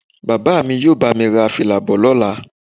Bàbá mi yóò bá mi ra fìlà bọ̀ lọ́la